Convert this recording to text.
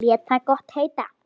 Lét það gott heita.